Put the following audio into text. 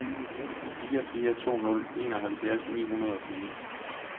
fire fire to nul enoghalvfjerds ni hundrede og fire